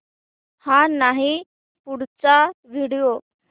हा नाही पुढचा व्हिडिओ